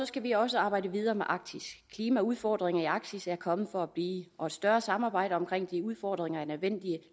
skal vi også arbejde videre med arktis klimaudfordringer i arktis er kommet for at blive og et større samarbejde omkring disse udfordringer er nødvendigt